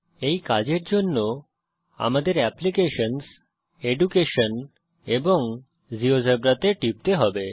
এই কাজের জন্য আমাদের অ্যাপ্লিকেশনস এডুকেশন এবং জিওজেবরা তে টিপতে হবে